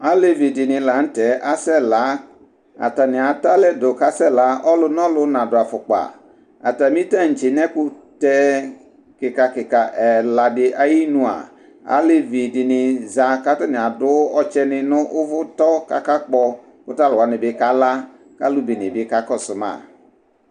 Alevidini la nu tɛ asɛ la atani atɛ kakasɛ la alɛdini na du afukpa atami taŋtse mɛ ɛkutɛ kika ɛladi ayi nua alevidini za katani adu ɔtsɛ ni nu uvu tɔ kakakpɔ kaluɛdini kala ɛdini kakɔsuma